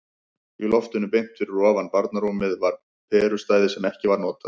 Í loftinu beint fyrir ofan barnarúmið var perustæði sem ekki var notað.